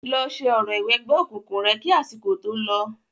Lọ ṣe orò ìwẹgbẹ́ òkùnkùn rẹ̀ kí àsìkò tó lọ.